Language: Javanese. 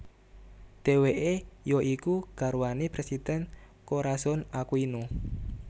Dheweke ya iku garwane Presiden Corazon Aquino